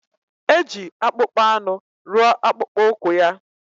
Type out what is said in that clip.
Eji akpụkpọanụ rụọ akpụkpọụkwụ ya